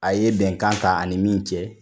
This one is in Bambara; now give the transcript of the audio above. A ye bɛnkan ta a ni min cɛ